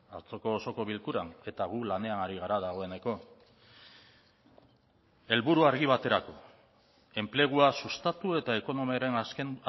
atzoko osoko bilkuran eta gu lanean ari gara dagoeneko helburu argi baterako enplegua sustatu eta ekonomiaren azken